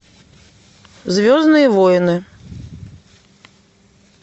звездные войны